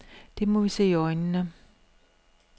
Det må vi se i øjnene.